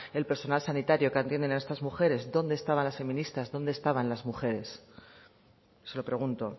el personal sanitario que atiende a estas mujeres dónde estaban las feministas dónde estaban las mujeres se lo pregunto